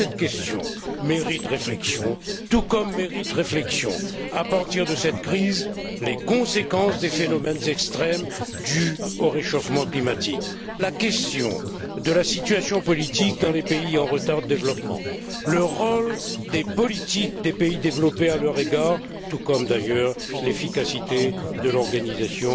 Cette question mérite réflexion, tout comme mérite réflexion, au vu de cette crise, les conséquences des phénomènes extrêmes dus au réchauffement climatique, la question de la situation politique dans les pays en retard de développement, le rôle des politiques des pays développés à leur égard, tout comme d'ailleurs l'efficacité de l'organisation